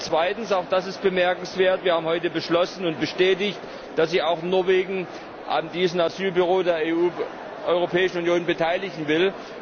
Zweitens und auch das ist bemerkenswert haben wir heute beschlossen und bestätigt, dass sich auch Norwegen an diesem Asylbüro der Europäischen Union beteiligen wird.